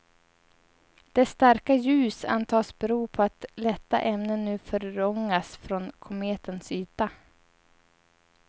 Dess starka ljus antas bero på att lätta ämnen nu förångas från kometens yta.